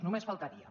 només faltaria